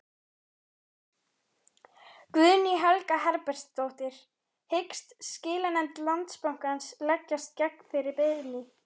Guðný Helga Herbertsdóttir: Hyggst skilanefnd Landsbankans leggjast gegn þeirri beiðni?